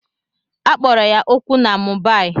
A kpọrọ ya okwu na Mumbai